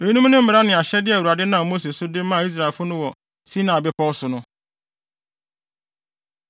Eyinom ne mmara ne ahyɛde a Awurade nam Mose so de maa Israelfo no wɔ Sinai Bepɔw so no.